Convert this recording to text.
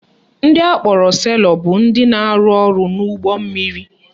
Ndị akpọrọ sailor bụ ndị na-arụ ọrụ n'ụgbọ mmiri